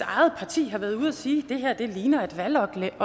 eget parti har været ude at sige at det her ligner et valgoplæg